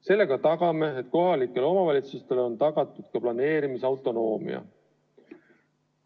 Sellega garanteerime, et kohalikele omavalitsustele on tagatud ka planeerimisautonoomia.